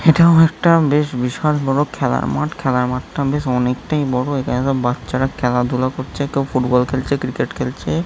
এটাও একটা বেশ বিশাল বড় খেলার মাঠ খেলার মাঠটা বেশ অনেকটাই বড় | এই জায়গায় বাচ্চারা খেলাধুলা করছে। কেউ ফুটবল খেলছে কেউ ক্রিকেট খেলছে।